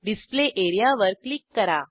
display एरियावर click करा